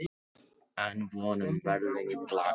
Enn von um verðlaun í blakinu